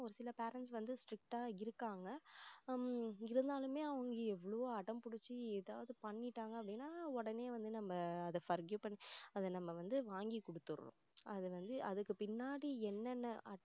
ஒரு சில parents வந்து strict ஆ இருக்காங்க ஹம் இருந்தாலுமே அவங்க எவ்ளோ அடம் புடிச்சி ஏதாவது பண்ணிட்டாங்க அப்படின்னா உடனே வந்து நம்ம அதை forgive பண்ணி அதை forgive பண்ணி அதை வந்து நம்ம வாங்கி கொடுத்துறோம் அது வந்து அதுக்கு பின்னாடி என்னென்ன